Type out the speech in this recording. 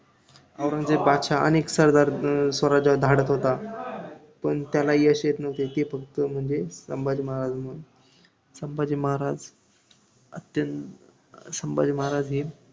औरंगजेब बादशाह अनेक सरदार स्वराज्यावर धाडत होता, पण त्याला यश येत न्हवते ते फक्त म्हणजे संभाजी महाराजांमुळे हे संभाजी महाराज अत्यंत~ संभाजी महाराज हे